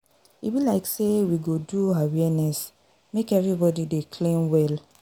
E be like say we go do awareness make everybody dey clean well.